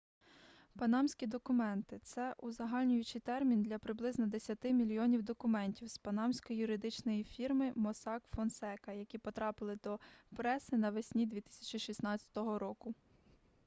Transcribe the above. панамські документи - це узагальнюючий термін для приблизно десяти мільйонів документів з панамської юридичної фірми моссак фонсека які потрапили до преси навесні 2016 року